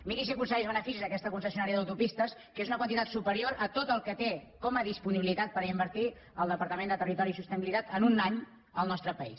miri si aconsegueix beneficis aquesta concessionària d’autopistes que és una quantitat superior a tot el que té com a disponibilitat per invertir el departament de territori i sostenibilitat en un any al nostre país